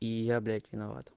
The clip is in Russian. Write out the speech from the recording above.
и я блять виноват